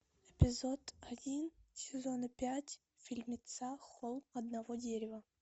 эпизод один сезона пять фильмеца холм одного дерева